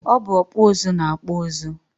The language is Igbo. Ọ bụ ọkpụ ụzụ na-akpụ ụzụ